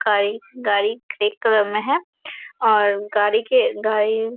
bike गाड़ी एक colour में है और गाड़ी के गाड़ी--